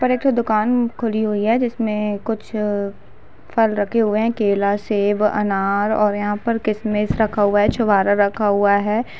पर एक ठो दुकान खुली हुई है जिसमें कुछ फल रखे हुए हैं केला सेब अनार और यहाँ पर किसमिस रखा हुआ है छुवारा रखा हुआ है।